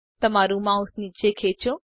તમારું માઉસ નીચે ખેચો